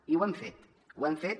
i ho hem fet ho hem fet